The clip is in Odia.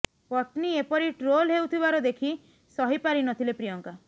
ପତ୍ନୀ ଏପରି ଟ୍ରୋଲ ହେଉଥିବାର ଦେଖି ସହି ପାରି ନ ଥିଲେ ପ୍ରିୟଙ୍କା